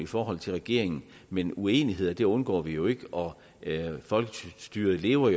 forhold til regeringen men uenigheder undgår vi jo ikke og folkestyret lever